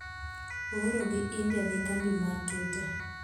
ooro gi India ne kambi mar Twitter